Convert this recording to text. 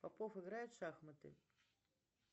попов играет в шахматы